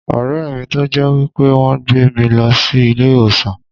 O rè mi tó jẹ́ wípé wón gbé mi lọ sí ilé ìwòsàn.